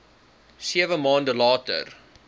sewe maande later